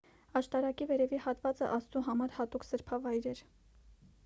աշտարակի վերևի հատվածը աստծու համար հատուկ սրբավայր էր